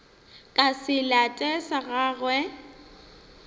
ka se late sa gagwe